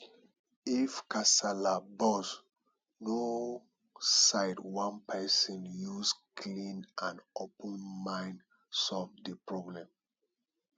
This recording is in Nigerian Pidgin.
if kasala burst no side one person use clean and open mind solve di problem